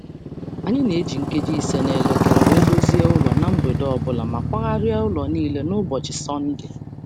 Anyị na - eji nkeji ise n'elekere wee dozie ụlọ na mgbede ọbụla ma kwagharia ụlọ niile n'ụbọchị Sọnde